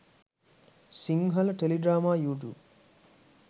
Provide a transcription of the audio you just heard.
sinhala teledrama youtube